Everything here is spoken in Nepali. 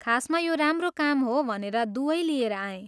खासमा यो राम्रो काम हो भनेर दुवै लिएर आएँ।